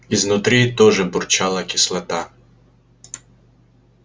изнутри тоже бурчала кислота